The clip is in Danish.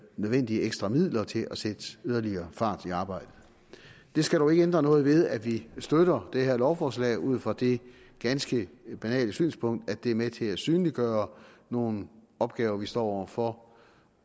nødvendige ekstra midler til at sætte yderligere fart i arbejdet det skal dog ikke ændre noget ved at vi støtter det her lovforslag ud fra det ganske banale synspunkt at det er med til at synliggøre nogle opgaver vi står over for